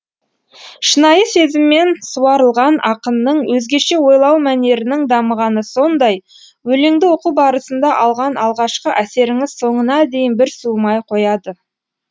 шынайы сезіммен суарылған ақынның өзгеше ойлау мәнерінің дамығаны сондай өлеңді оқу барысында алған алғашқы әсеріңіз соңына дейін бір суымай қояды